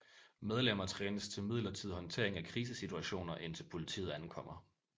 Medlemmer trænes til midlertidig håndtering af krisesituationer indtil politiet ankommer